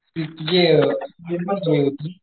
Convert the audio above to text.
ते तुझे